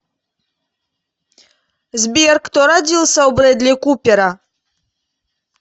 сбер кто родился у брэдли купера